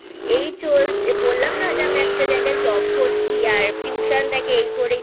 এই বললাম না যে আমি একটা জায়গায় Job করছি আর Tution থাকে এই করেই